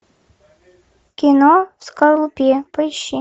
кино в скорлупе поищи